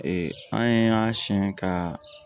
an y'a siɲɛ ka